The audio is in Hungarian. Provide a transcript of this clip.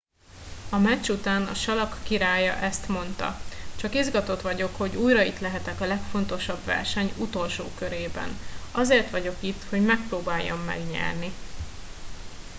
a meccs után a salak királya ezt mondta csak izgatott vagyok hogy újra itt lehetek a legfontosabb verseny utolsó körében azért vagyok itt hogy megpróbáljam megnyerni